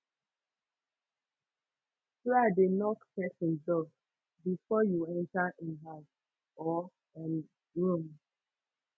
try de knock persin door bfor you enter in house or um room